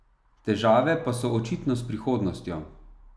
Težave pa so očitno s prihodnostjo.